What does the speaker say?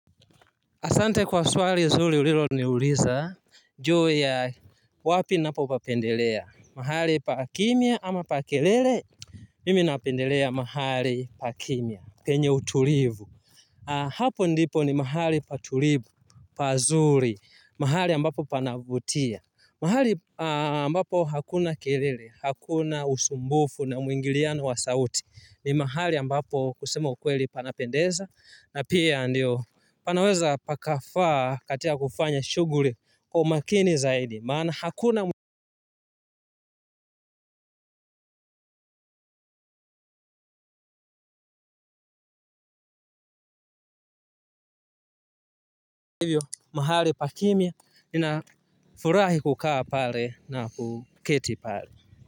Asante kwa swali zuli ulilo ni uliza, juu ya wapi napo papendelea, mahali pa kimya ama pa kelele, mimi napendelea mahali pa kimya, penye utulivu. Hapo ndipo ni mahali patulivu, pazuri, mahali ambapo panavutia. Mahali ambapo hakuna kelele, hakuna usumbufu na mwingiliano wa sauti, ni mahali ambapo kusema ukweli panapendeza, na pia ndio panaweza pakafaa katia kufanya shughuri kwa umakini zaidi, maana hakuna hivyo, mahali pakimya, nafurahi kukaa pare na kuketi pale.